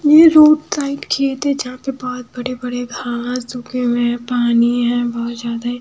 ये road side खेत है जहां पे बहुत बड़े-बड़े घास उगे हुए हैं पानी है बहुत ज्यादा--